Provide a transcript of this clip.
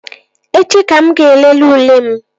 Echi ka mụ ga-elele ule m